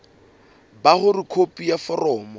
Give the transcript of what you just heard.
ba hore khopi ya foromo